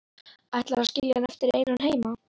Ætlarðu að skilja hann eftir einan heima?